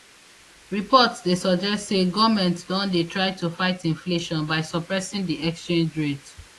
reports dey suggest say goment don dey try to fight inflation by suppressing di exchange rate